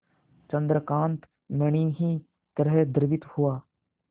चंद्रकांत मणि ही तरह द्रवित हुआ